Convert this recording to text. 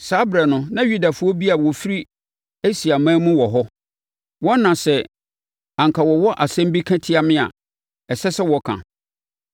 Saa ɛberɛ no, na Yudafoɔ bi a wɔfiri Asiaman mu wɔ hɔ. Wɔn na sɛ anka wɔwɔ asɛm bi ka tia me a, ɛsɛ sɛ wɔka.